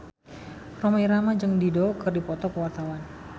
Rhoma Irama jeung Dido keur dipoto ku wartawan